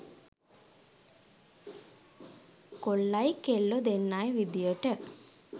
කොල්ලයි කෙල්ලො දෙන්නයි විදියට